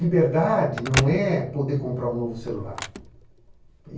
Liberdade não é poder comprar um novo celular.